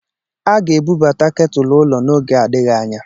A ga-ebubata ketulu ụlọ n'oge adịghị anya.